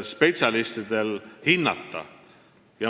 spetsialistidel asja hinnata.